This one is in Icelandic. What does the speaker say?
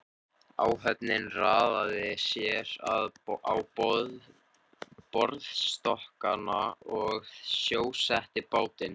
Áhöfnin raðaði sér á borðstokkana og sjósetti bátinn.